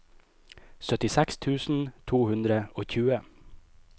syttiseks tusen to hundre og tjue